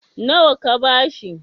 nawa ka ba shi?